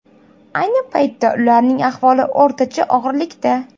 Ayni paytda ularning ahvoli o‘rtacha og‘irlikda.